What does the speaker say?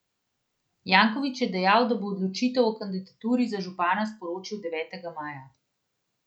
Janković je dejal, da bo odločitev o kandidaturi za župana sporočil devetega maja.